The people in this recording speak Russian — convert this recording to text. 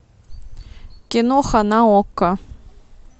киноха на окко